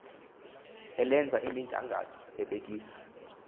elenza imigangatho libhekisa